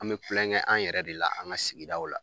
An bɛ tulonkɛ an yɛrɛ de la an ka sigidaw la